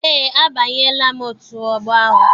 Eé, abanyela m otù ọgbọ ahụ